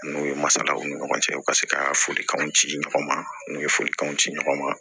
N'u ye masalaw ni ɲɔgɔn cɛ u ka se ka folikanw ci ɲɔgɔn ma n'u ye folikanw ci ɲɔgɔn ma